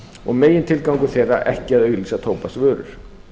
og megintilgangur þeirra ekki að auglýsa tóbaksvörur